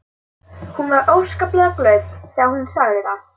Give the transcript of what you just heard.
Hún var óskaplega glöð þegar hún sagði það.